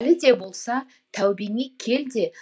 әлі де болса тәубеңе кел де